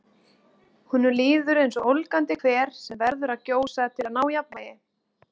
Honum líður eins og ólgandi hver sem verður að gjósa til að ná jafnvægi.